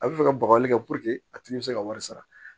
A bɛ fɛ ka bagaji kɛ a tigi bɛ se ka wari sara